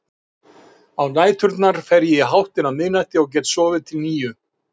Á næturnar fer ég í háttinn á miðnætti og get sofið til níu.